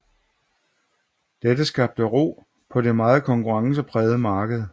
Dette skabte ro på det meget konkurrenceprægede marked